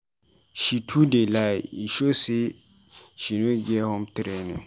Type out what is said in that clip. She too dey lie. E show sey she no get home training.